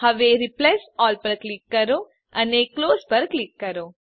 હવે replace all પર click કરો અને ક્લોઝ પર ક્લિક કરો